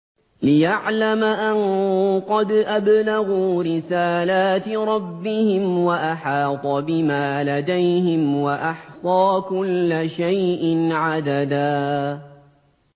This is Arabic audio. لِّيَعْلَمَ أَن قَدْ أَبْلَغُوا رِسَالَاتِ رَبِّهِمْ وَأَحَاطَ بِمَا لَدَيْهِمْ وَأَحْصَىٰ كُلَّ شَيْءٍ عَدَدًا